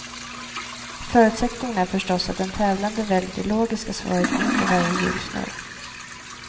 Förutsättningen är förstås att den tävlande väljer det logiska svaret inför varje hjulsnurr.